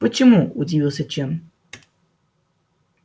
почему удивился чен